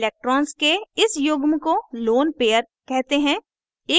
electrons के इस युग्म को lone पेअर lone pair कहते हैं